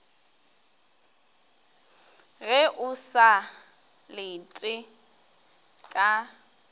ge o sa lete ka